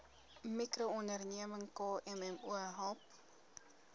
mikroonderneming kmmo help